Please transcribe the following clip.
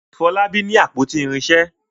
Folabi ní àpótí irinṣẹ.